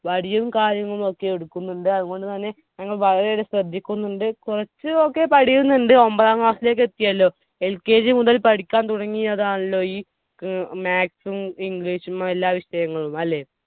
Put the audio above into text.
വടിയും കാര്യങ്ങളുമൊക്കെ എടുക്കുന്നുണ്ട്. അതുകൊണ്ടുതന്നെ ഞങ്ങൾ വളരെയധികം ശ്രദ്ധിക്കുന്നുണ്ട്. കുറച്ചൊക്കെ പഠിയുന്നുണ്ട്. ഒമ്പതാം class ലേക്ക് എത്തിയല്ലോ. LKG മുതൽ പഠിക്കാൻ തുടങ്ങിയതാണല്ലോ ഈ maths ഉം english ഉം എല്ലാ വിഷയങ്ങളും അല്ലെ